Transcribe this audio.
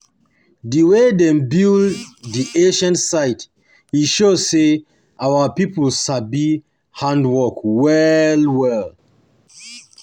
Di way dem build di ancient site, e show sey our pipo sabi hand-work well-well